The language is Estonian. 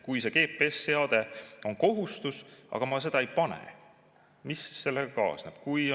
Kui see GPS‑seade on kohustuslik, aga ma seda peale ei pane, siis mis sellega kaasneb?